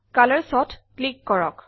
Colorsত click কৰক